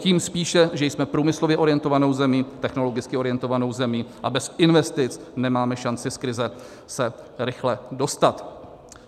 Tím spíše, že jsme průmyslově orientovanou zemí, technologicky orientovanou zemí, a bez investic nemáme šanci se z krize rychle dostat.